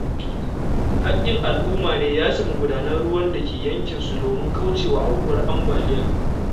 Haƙƙin al'umma ne yashe magudanan ruwan da ke yankinsu domin kauce wa aukuwar ambaliya.